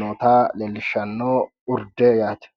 noota leellishshanno urde yaate